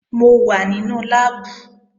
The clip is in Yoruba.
Mo wà nínú láàbù